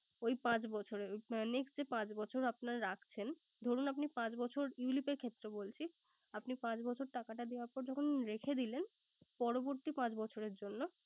ওই পাঁচ বছরের। Next যে পাঁচ বছর আপনার রাখছেন ধরুন, আপনি পাঁচ বছর ulip এর ক্ষেত্রে বলছি। আপনি পাঁচ বছর টাকাটা দেওয়ার পর যখন রেখে দিলেন, পরবর্তী পাঁচ বছরের জন্য